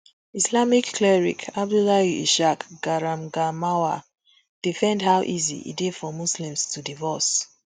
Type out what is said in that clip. islamic cleric abdullahi ishaq garangamawa defend how easy e dey for muslims to divorce